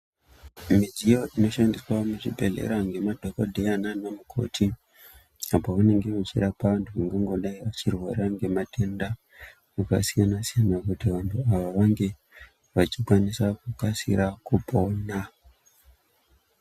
Midziyo inoshandiswa muzvibhedhlera ngemadhokodheya naanamukoti apo vanonga vachirapa vantu vangangodai vachirwara ngematenda akasiyana siyana kuti vantu ava vange vachikwanisa kukasira kupona.